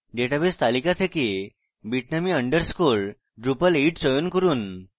database তালিকা থেকে bitnami _ drupal8 চয়ন করুন